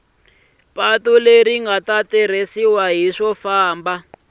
ri nga ta tirhiseriwa swifambo